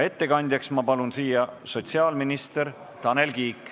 Ettekandjaks palun ma sotsiaalminister Tanel Kiige.